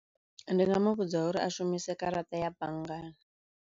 Ndi nga mu vhudza uri a shumise garaṱa ya banngani.